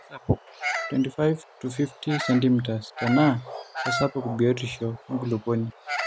Keisapuk 25-50cm tenaa keisapuk biotisho enkulupuoni